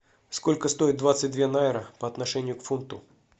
сколько стоит двадцать две найры по отношению к фунту